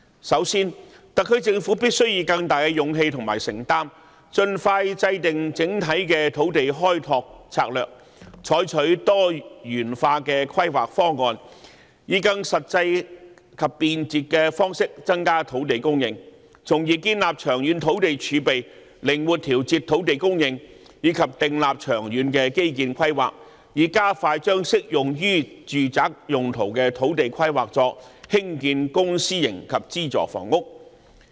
首先，特區政府必須以更大的勇氣和承擔，盡快制訂整體的土地開拓策略，採取多元化規劃方案，以更實際及便捷的方式增加土地供應，從而建立長遠土地儲備，靈活調節土地供應；以及訂立長遠基建規劃，加快將適用於住宅用途的土地規劃作興建公私營及資助房屋。